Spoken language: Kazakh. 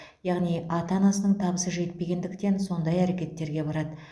яғни ата анасының табысы жетпегендіктен сондай әрекеттерге барады